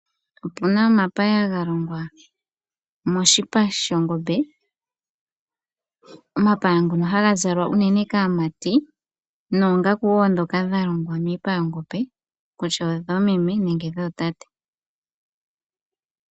Opu na omapaya ga longwa moshipa shongombe, omapaya ngoka haga zalwa unene kaamati nosho wo oongaku ndhoka dha longwa miipa yongombe kutya odhoomeme nenge dhootate.